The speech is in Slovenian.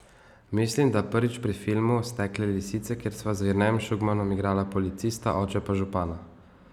Mislim, da prvič pri filmu Stekle lisice, kjer sva z Jernejem Šugmanom igrala policista, oče pa župana.